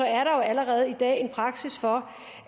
er der allerede i dag en praksis for